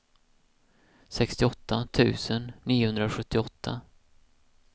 sextioåtta tusen niohundrasjuttioåtta